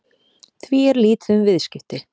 Því er lítið um viðskipti